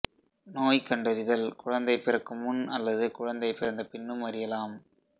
நோய் கண்டறிதல் குழந்தை பிறக்கும் முன் அல்லது குழந்தை பிறந்த பின்னும் அறியலாம்